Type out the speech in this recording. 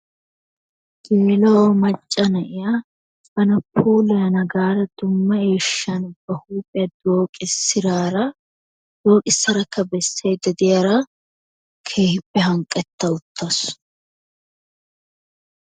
geela'o macca na'iya bana puulayana gaada dumma eeshan ba huuphiya dooqisidaara dooqisadakka besaydda diyara keehippe hanqqetta utaasu.